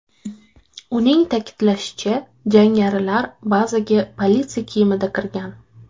Uning ta’kidlashicha, jangarilar bazaga politsiya kiyimida kirgan.